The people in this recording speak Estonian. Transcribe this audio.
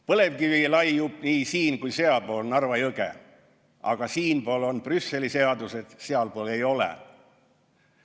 Põlevkivi laiub nii siin- kui sealpool Narva jõge, aga siinpool on Brüsseli seadused, sealpool ei ole.